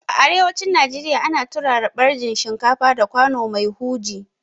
A arewacin Najeriya ana turara ɓarjin shinkafa da kwano mai huji